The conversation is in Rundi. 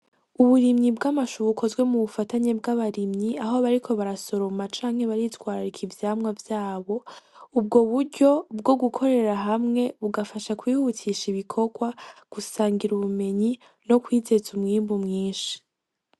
Uburimyi bw'amashu bukozwe mu bufatanye bw'abarimyi aho bariko barasoroma canke bariko baritwararika ivyamwa vyabo ubwo buryo bwo gukorera hamwe bugafasha kwihutisha ibikogwa, gusangira ubumenyi, no kwizeza umwimbu mwinshi.